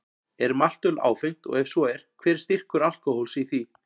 Er maltöl áfengt og ef svo er, hver er styrkur alkóhóls í því?